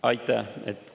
Aitäh!